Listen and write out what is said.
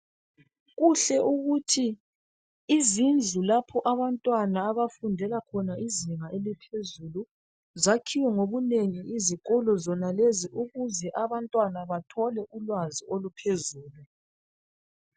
Kuhle ukuthi izindlu lapho abantwana abafundela khona izinga eliphezulu, zakhiwe ngobunengi izikolo zona lezi ukuze abantwana bathole ulwazi oluphezulu.